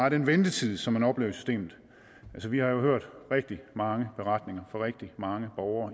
af den ventetid som man oplever i systemet altså vi har hørt rigtig mange beretninger fra rigtig mange borgere